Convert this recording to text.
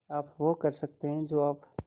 आप वो कर सकते हैं जो आप